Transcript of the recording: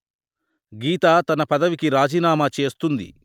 గీత తన పదవికి రాజీనామా చేస్తుంది